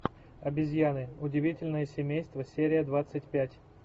обезьяны удивительное семейство серия двадцать пять